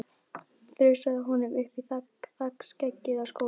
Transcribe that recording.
Þrusaði honum upp í þakskeggið á skólanum.